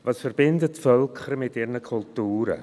Was verbindet Völker mit ihren Kulturen?